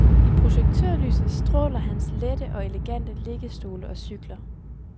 I projektørlyset stråler hans lette og elegante liggestole og cykler.